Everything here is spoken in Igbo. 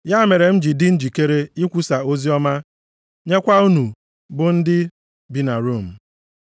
Ya mere m ji dị njikere ikwusa oziọma nyekwa unu bụ ndị bi na Rom.